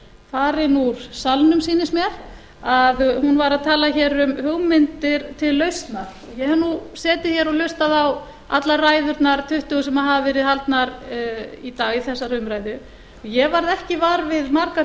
farin úr salnum sýnist mér að hún var að tala hér um hugmyndir til lausnar ég hef nú setið hér og hlustað á allar ræðurnar tuttugu sem hafa verið haldnar í dag í þessari umræðu og ég varð ekki vör við margar